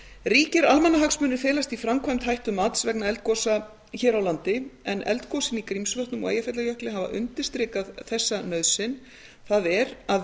ríkir almannahagsmunir felast í framkvæmd hættumats vegna eldgosa hér á landi en eldgosin í grímsvötnum og eyjafjallajökli hafa undirstrikað þessa nauðsyn það er að